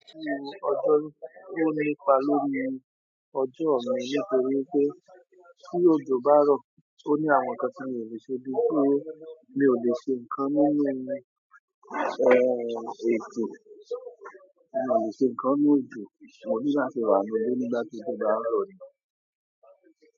Ọjọ, ó ní pa lórí ọjọ mi nítorí pé tí òjò bá rọ, ó ni àwọn ǹkan tí mi ò lè ṣe bí pé mi ò lè ṣe ǹkan nínú, eh, òjò, mi ò lè ṣe ǹkan ní nu òjò, mo ní láti wà nínú ilé nígbàtí tí òjò bá ń rọ ni.